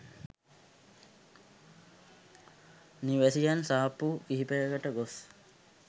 නිවැසියන් සාප්පු කිහිපයකට ගොස්